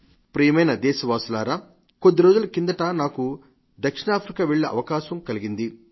నా ప్రియమైన దేశవాసులారా కొద్దిరోజుల కిందట నాకు దక్షిణాఫ్రికా వెళ్లే అవకాశం కలిగింది